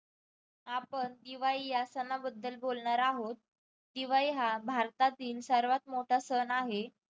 आपण 'दिवाळी' या सणाबद्दल बोलणार आहोत. दिवाळी हा भारतातील सर्वात मोठा सण आहे.